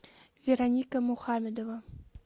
вероника мухамедова